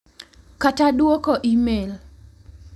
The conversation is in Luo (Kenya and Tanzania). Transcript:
Kata dwoko e-mail,